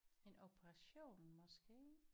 En operation måske